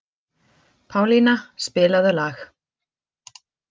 Pálína, spilaðu lag.